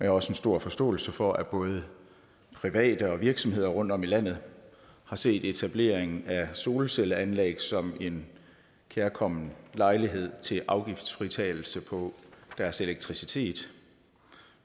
har også en stor forståelse for at både private og virksomheder rundtom i landet har set etableringen af solcelleanlæg som en kærkommen lejlighed til afgiftsfritagelse på deres elektricitet